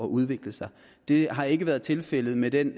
udvikle sig det har ikke været tilfældet med den